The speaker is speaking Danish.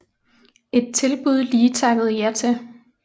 Et tilbud Lee takkede ja til